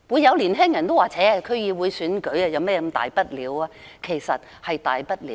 有年輕人會說："那是區議會選舉而已，有甚麼大不了？